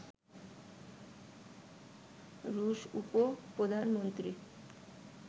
রুশ উপ-প্রধানমন্ত্রী